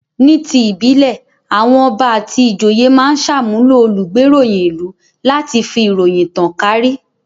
Ni ti ìbílẹ̀, àwọn ọba àti ìjòyè máa ń ṣàmúlò olùgbéròyìn-ìlú láti fi ìròyìn tan kàárí.